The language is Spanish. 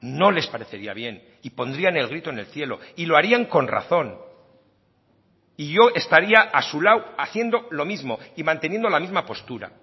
no les parecería bien y pondrían el grito en el cielo y lo harían con razón y yo estaría a su lado haciendo lo mismo y manteniendo la misma postura